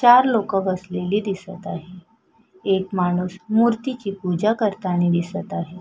चार लोकं बसलेली दिसत आहेत एक माणूस मूर्ती ची पूजा करताना दिसत आहे.